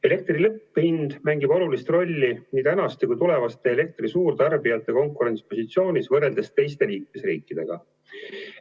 Elektri lõpphind mängib olulist rolli nii tänaste kui ka tulevaste elektri suurtarbijate konkurentsipositsioonis võrreldes teiste liikmesriikidega.